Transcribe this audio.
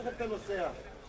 Neyləyirsən o tərəfdə?